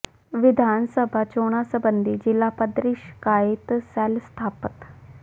ਵਿਧਾਨ ਸਭਾ ਚੋਣਾਂ ਸਬੰਧੀ ਜ਼ਿਲ੍ਹਾ ਪੱਧਰੀ ਸ਼ਿਕਾਇਤ ਸੈਲ ਸਥਾਪਤ